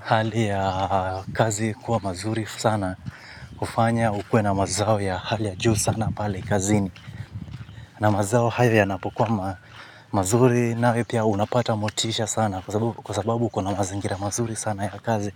hali ya kazi kuwa mazuri sana kufanya ukuwe na mazao ya hali ya juu sana pale kazini. Na mazao hayo yanapokuwa mazuri nayo pia unapata motisha sana kwa sababu uko na mazingira mazuri sana ya kazi.